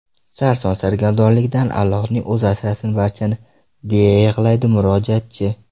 Sarson-sargardonlikdan Allohning o‘zi asrasin barchani”, deya yig‘laydi murojaatchi.